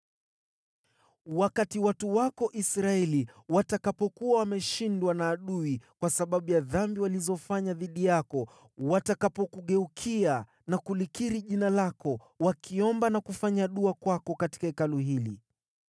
“Wakati watu wako Israeli watakapokuwa wameshindwa na adui kwa sababu ya dhambi walizofanya dhidi yako, watakapokugeukia na kulikiri jina lako, wakiomba na kufanya dua kwako katika Hekalu hili,